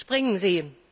Springen Sie!